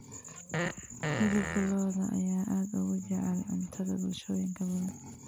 Hilibka lo'da ayaa aad ugu jecel cuntada bulshooyin badan.